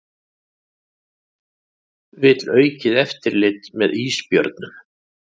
Vill aukið eftirlit með ísbjörnum